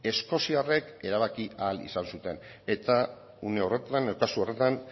eskoziarrek erabaki ahal izan zuten eta une horretan eta zorretan